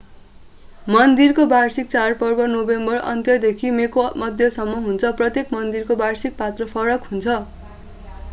मन्दिरको वार्षिक चाडपर्व नोभेम्बर अन्त्यदेखि मेको मध्यसम्म हुन्छ प्रत्येक मन्दिरको वार्षिक पात्रो फरक हुन्छ